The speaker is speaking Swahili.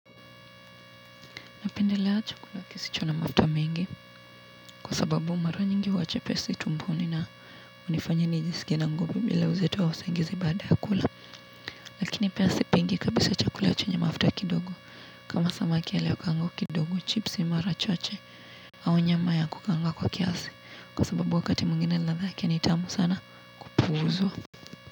Napendelea chakula kisicho na mafta mengi kwa sababu mara nyingi huwa chepesi tumboni na unifanya nijisikie na nguvi bila uzito wa usingizi baada ya kula lakini pia sipendi kabisa chakula chenye mafuta kidogo kama samaki aliyekaangwa kidogo chipsi mara chache au nyama ya kukaanga kwa kiasi kwa sababu wakati mwigine ladha yake ni tamu sana kupuuzwa.